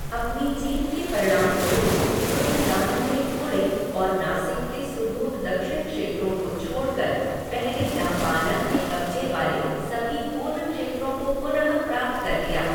अपनी जीत के परिणामस्वरूप रुद्रदामन ने पुणे और नासिक के सुदूर दक्षिण क्षेत्रों को छोड़कर, पहले नहपाना के कब्जे वाले सभी पूर्व क्षेत्रों को पुनः प्राप्त कर लिया।